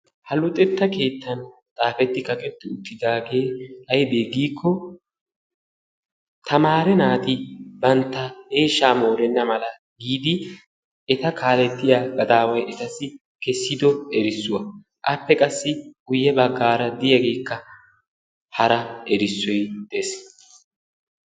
Ha luxetta keettan xaafeti kaaqetti uttidaage aybbe giiko tamaare naati bantta eeshsha morena mala giidi eta kaalletiya gadaaway etassi kessido erissuwaa. appe qassi guyye baggara diyageekka hara erissoy dees.